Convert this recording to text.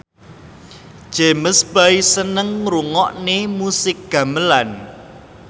James Bay seneng ngrungokne musik gamelan